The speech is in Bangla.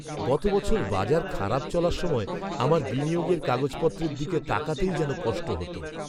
গত বছর বাজার খারাপ চলার সময় আমার বিনিয়োগের কাগজপত্রের দিকে তাকাতেই যেন কষ্ট হত।